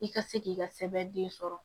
I ka se k'i ka sɛbɛn den sɔrɔ